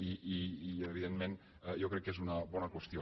i evidentment jo crec que és una bona qüestió